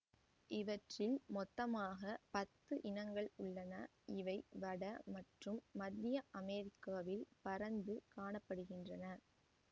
இவற்றில் மொத்தமாக பத்து இனங்கள் உள்ளன இவை வட மற்றும் மத்திய அமெரிக்காவில் பரந்து காண படுகின்றன